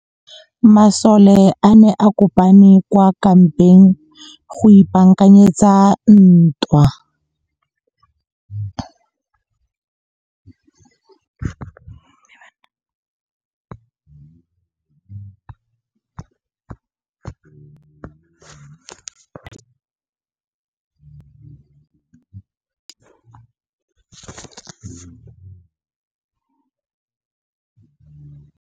Masole a ne a kopane kwa kampeng go ipaakanyetsa ntwa.